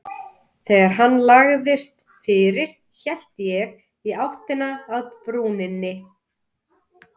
Þegar hann lagðist fyrir hélt ég áfram í áttina að brúninni.